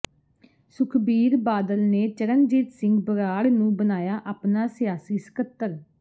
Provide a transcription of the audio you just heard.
ਸੁਖਬੀਰ ਬਾਦਲ ਨੇ ਚਰਨਜੀਤ ਸਿੰਘ ਬਰਾੜ ਨੂੰ ਬਣਾਇਆ ਆਪਣਾ ਸਿਆਸੀ ਸਕੱਤਰ